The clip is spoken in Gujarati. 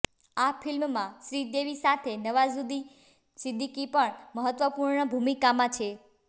આ ફિલ્મમાં શ્રીદેવી સાથે નવાઝુદ્દીન સિદ્દીકી પણ મહત્વપૂર્ણ ભૂમિકામાં છે